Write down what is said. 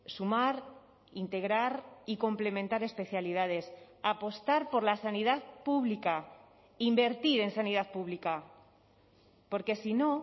sumar integrar y complementar especialidades apostar por la sanidad pública invertir en sanidad pública porque si no